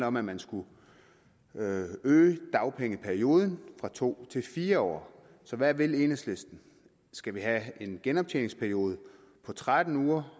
om at man skulle øge dagpengeperioden fra to til fire år så hvad vil enhedslisten skal vi have en genoptjeningsperiode på tretten uger